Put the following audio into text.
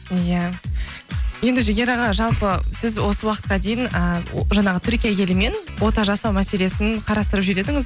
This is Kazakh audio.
иә енді жігер аға жалпы сіз осы уақытқа дейін ііі о жаңағы түркия елімен ота жасау мәселесін қарастырып жүр едіңіз